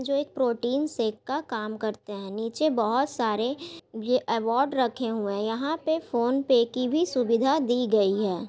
जो एक protein shake का काम करते हैं। नीचे बहोत सारे ये अवार्ड रखे हुए हैं। यहां पे फोनपे की भी सुविधा दी गई है।